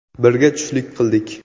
Birga tushlik qildik.